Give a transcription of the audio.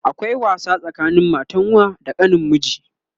akwai wasa tsakanin matan wa da kanin miji